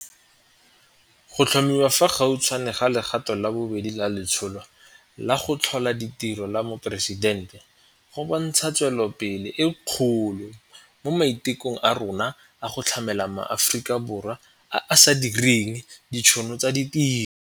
Go tlhomiwa fa gautshwane ga legato la bobedi la Letsholo la go Tlhola Ditiro la Moporesidente go bontsha tswelelopele e kgolo mo maitekong a rona a go tlhamela ma Aforika Borwa a a sa direng ditšhono tsa ditiro.